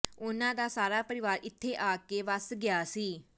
ਉਹਨਾਂ ਦਾ ਸਾਰਾ ਪਰਿਵਾਰ ਇੱਥੇ ਆ ਕੇ ਵੱਸ ਗਿਆ ਸੀ